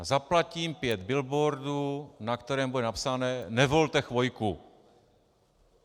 A zaplatím pět billboardů, na kterém bude napsané Nevolte Chvojku.